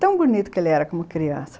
Tão bonito que ele era como criança.